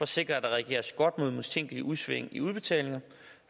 sikre at der reageres mod mistænkelige udsving i udbetalinger